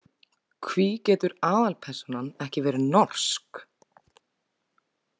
Hví getur aðalpersónan ekki verið norsk?